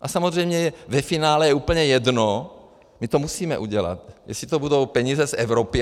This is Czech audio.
A samozřejmě je ve finále úplně jedno, my to musíme udělat, jestli to budou peníze z Evropy.